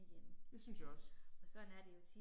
Det synes jeg også